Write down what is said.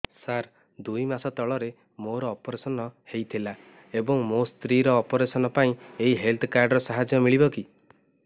ସାର ଦୁଇ ମାସ ତଳରେ ମୋର ଅପେରସନ ହୈ ଥିଲା ଏବେ ମୋ ସ୍ତ୍ରୀ ର ଅପେରସନ ପାଇଁ ଏହି ହେଲ୍ଥ କାର୍ଡ ର ସାହାଯ୍ୟ ମିଳିବ କି